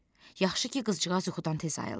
Yaxşı ki, qızcıqaz yuxudan tez ayıldı.